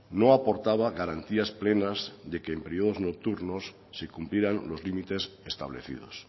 no aportaba garantías plenas de que en periodos nocturnos se cumplieran los límites establecidos